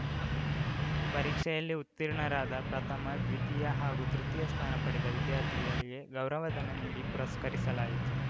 ಪರೀಕ್ಷೆಯಲ್ಲಿ ಉತ್ತೀರ್ಣರಾದ ಪ್ರಥಮ ದ್ವಿತೀಯ ಹಾಗೂ ತೃತಿಯ ಸ್ಥಾನ ಪಡೆದ ವಿದ್ಯಾರ್ಥಿಗಳಿಗೆ ಗೌರವಧನ ನೀಡಿ ಪುರಸ್ಕರಿಸಲಾಯಿತು